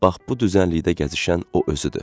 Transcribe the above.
Bax bu düzənlikdə gəzişən o özüdür.